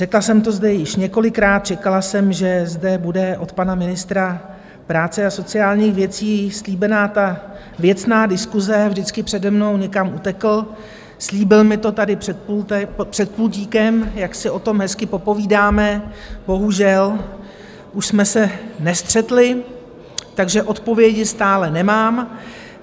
Řekla jsem to zde již několikrát, čekala jsem, že zde bude od pana ministra práce a sociálních věcí slíbená ta věcná diskuse, vždycky přede mnou někam utekl, slíbil mi to tady před pultíkem, jak si o tom hezky popovídáme, bohužel už jsme se nestřetli, takže odpovědi stále nemám.